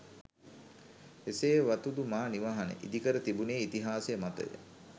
එසේ වතුදු මා නිවහන ඉදිකර තිබුණේ ඉතිහාසය මතය